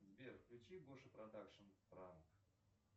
сбер включи гоша продакшн пранк